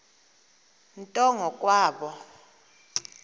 nto ngo kwabo